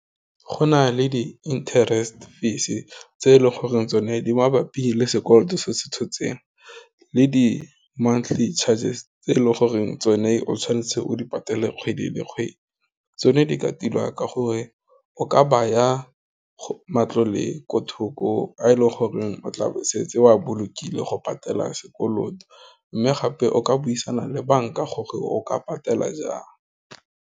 Go nale di-interest fees tse e leng goreng tsone di mabapi le sekoloto se se tshotseng, le di-monthly chargers tse e leng goreng tsone o tshwanetse o di patale kgwedi le kgwedi, tsone di ka tilwa ka gore o ka baya go matlole ko thoko, a e leng goreng o tlabo o setse o a bolokile go patela sekoloto, mme gape o ka buisana le banka gore o ka patela jang.